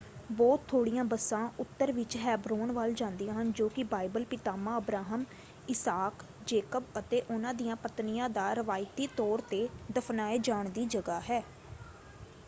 ਬਹੁਤ ਥੋੜ੍ਹੀਆਂ ਬੱਸਾਂ ਉੱਤਰ ਵਿੱਚ ਹੈਬਰੋਨ ਵੱਲ ਜਾਂਦੀਆਂ ਹਨ ਜੋ ਕਿ ਬਾਈਬਲ ਪਿਤਾਮਾ ਅਬਰਾਹਮ ਇਸਾਕ ਜੇਕਬ ਅਤੇ ਉਹਨਾਂ ਦੀਆਂ ਪਤਨੀਆਂ ਦਾ ਰਿਵਾਇਤੀ ਤੌਰ 'ਤੇ ਦਫ਼ਨਾਏ ਜਾਣ ਦੀ ਜਗ੍ਹਾ ਹੈ।